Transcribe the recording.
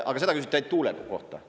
Aga seda küsiti ainut tuule kohta.